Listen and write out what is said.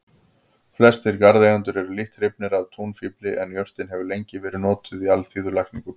Flestir garðeigendur eru lítt hrifnir af túnfífli en jurtin hefur lengi verið notuð í alþýðulækningum.